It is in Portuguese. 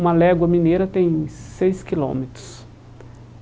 Uma légua mineira tem seis quilômetros.